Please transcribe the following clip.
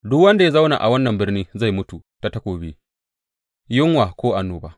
Duk wanda ya zauna a wannan birni zai mutu ta takobi, yunwa ko annoba.